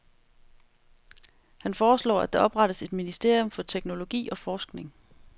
Han foreslår, at der oprettes et ministerium for teknologi og forskning.